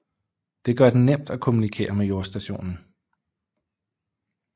Det gør det nemt at kommunikere med jordstationen